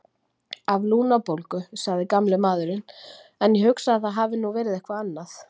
Af lungnabólgu, sagði gamli maðurinn, en ég hugsa að það hafi nú verið eitthvað annað.